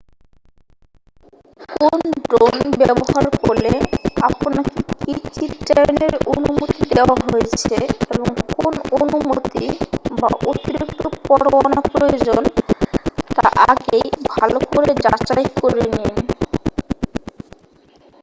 কোন ড্রোন ব্যবহার করলে আপনাকে কী চিত্রায়নের অনুমতি দেওয়া হয়েছে এবং কোন অনুমতি বা অতিরিক্ত পরত্তয়ানা প্রয়োজন তা আগেই ভালো করে যাচাই করে নিন